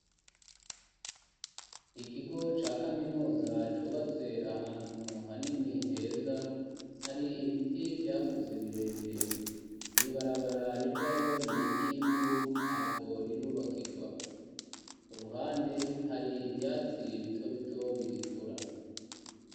Ikigo ca kaminuza cubatse ahantu hanini heza hari ibiti vyakuze birebire mu ibarabara rijayo n'iryivu ntabwo rirubakigwa, ku ruhande hari ivyatsi bito bito bigikura.